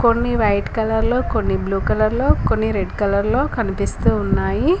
కొన్ని వైట్ కలర్లో కొన్ని బ్లూ కలర్లో కొన్ని రెడ్ కలర్లో కనిపిస్తూ ఉన్నాయి.